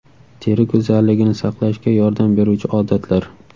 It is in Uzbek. Teri go‘zalligini saqlashga yordam beruvchi odatlar.